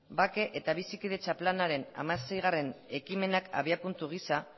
bake eta bizikidetza planaren hamaseigarrena ekimenak abiapuntu gisa